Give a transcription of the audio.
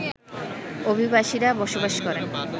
অভিবাসীরা বসবাস করেন